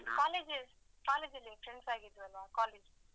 Colleges~ college ಅಲ್ಲಿ friends ಆಗಿದಲ್ವಾ college.